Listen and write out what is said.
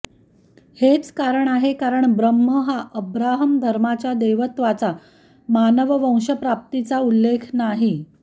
हेच कारण आहे कारण ब्रह्म हा अब्राहम धर्माच्या देवत्वाचा मानववंशप्राप्तीचा उल्लेख नाही